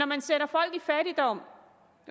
man sætter folk i fattigdom